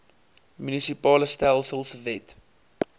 munisipale stelsels wet